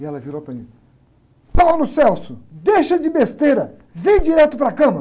E ela virou para mim, deixa de besteira, vem direto para a cama.